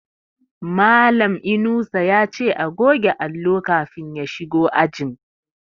Malan Inusa yace a goge allo kafin ya shigo ajin